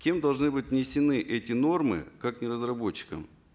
кем должны быть внесены эти нормы как не разработчиком